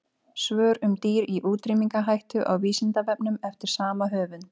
Svör um dýr í útrýmingarhættu á Vísindavefnum eftir sama höfund.